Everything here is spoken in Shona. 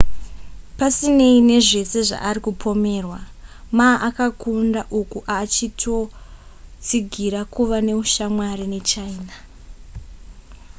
pasinei nezvese zvaari kupomerwa, ma akakunda uku aachitotsigira kuva neushamwari nechina